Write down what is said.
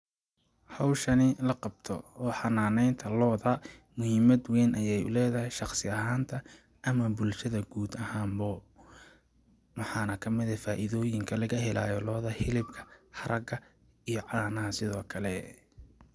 Hawshani la qabto oo xananeynta looda muhiimada weyn ayeey u leedahay shaqsi ahaan ta ama bulshada guud ahaan bo ,maxaa na kamid eh faaidooyinka laga helaayo ,hilibka, haraga iyo caanaha sidoo kle .